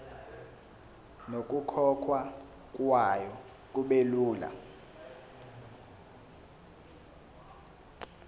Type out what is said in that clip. nokukhokhwa kwayo kubelula